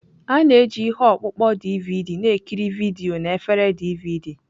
A na-eji ihe ọkpụkpọ DVD na-ekiri vidiyo na efere DVD.